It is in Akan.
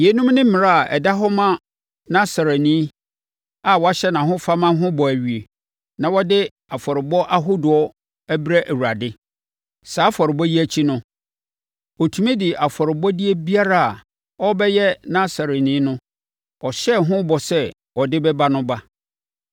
“Yeinom ne mmara a ɛda hɔ ma Nasareni a wahyɛ nʼahofama ho bɔ awie, na ɔde afɔrebɔ ahodoɔ brɛ Awurade. Saa afɔrebɔ yi akyi no, ɔtumi de afɔrebɔdeɛ biara a ɔrebɛyɛ Nasareni no, ɔhyɛɛ ho bɔ sɛ ɔde bɛba no ba.”